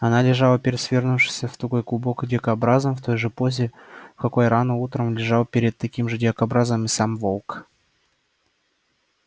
она лежала перед свернувшимся в тугой клубок дикобразом в той же позе в какой рано утром лежал перед таким же дикобразом и сам волк